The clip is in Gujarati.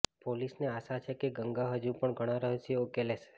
પોલીસને આશા છે કે ગંગા હજુ ઘણા રહસ્યો ઉકેલશે